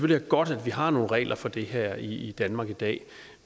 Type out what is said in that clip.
det er godt at vi har nogle regler for det her i danmark i dag